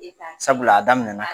ka, sabula a daminɛ na